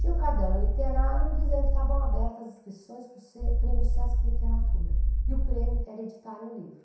Tinha o caderno literário dizendo que estavam abertas as inscrições para o Se Prêmio Sesc Literatura, e o prêmio era editarem o livro.